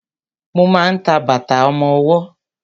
Mo ma ń ta bàtà ọmọwọ́.